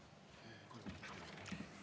Kolm minutit ka lisaaega.